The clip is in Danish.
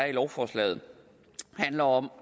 i lovforslaget handler om